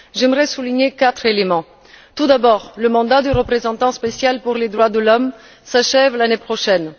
J'aimerais souligner quatre éléments tout d'abord, le mandat du représentant spécial pour les droits de l'homme s'achève l'année prochaine.